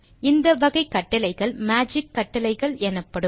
இந்த வகை கட்டளைகள் மேஜிக் கட்டளைகள் எனப்படும்